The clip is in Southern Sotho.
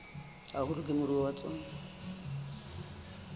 haholo ke moruo wa tsona